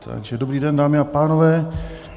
Takže dobrý den, dámy a pánové.